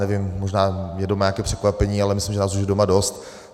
Nevím, možná někdo má nějaké překvapení, ale myslím, že nás už je doma dost.